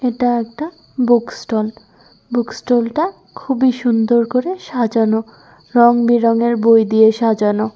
এটা একটাবুক stall book stall -টাখুবই সুন্দর করে সাজানো রংবেরঙের বই দিয়ে সাজানো।